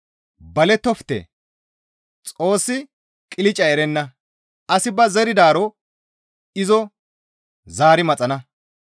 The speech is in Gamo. Balettofte; Xoossi qilcca erenna; asi ba zeridaaro izo zaari maxana.